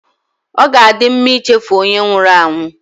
Ọ ga-adị mma ichefu onye nwụrụ anwụ